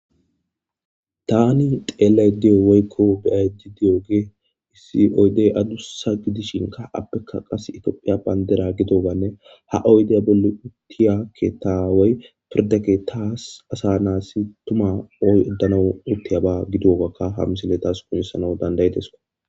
tani xeellay diyo weykko be7aydi diyoge issi oydey adussa gidishinka appekka qas itoophiya bandera gidobanne ha oyde bolli uttiyakketaawey pirdeke taas asa naassi tuma oy oddanau uttiyaba gidogakka hamsile taas kunnissana dandayedesko